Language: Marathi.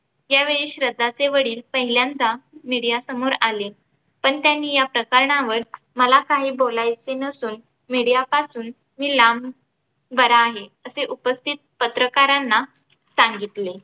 यावेळी श्रद्धाचे वडील पहिल्यांदा media समोर आले. पण त्यांनी या प्रकरणावर मला काही बोलायचे नसून media पासून मी लांब बरा आहे असं उपस्थित पत्रकारांना सांगितले.